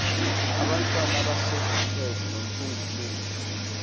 abantwana abasebumpethu nophunguphungu